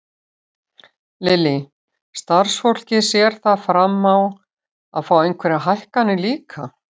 Lillý: Starfsfólkið, sér það fram á að fá einhverjar hækkanir líka?